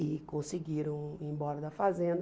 E conseguiram ir embora da fazenda.